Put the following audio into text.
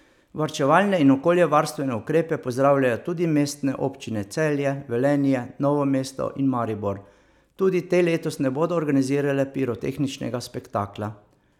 Varčevalne in okoljevarstvene ukrepe pozdravljajo tudi Mestne občine Celje, Velenje, Novo Mesto in Maribor, tudi te letos ne bodo organizirale pirotehničnega spektakla.